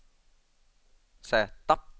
Z